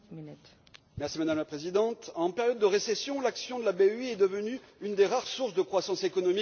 Madame la Présidente, en période de récession, l'action de la BEI est devenue une des rares sources de croissance économique en Europe.